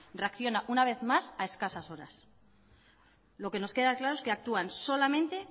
reacciona una vez más a escasas horas lo que nos queda claro es que actúan solamente